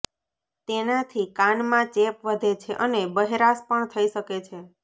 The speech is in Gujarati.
તેનાથી કાનમાં ચેપ વધે છે અને બહેરાશ પણ થઈ શકે છે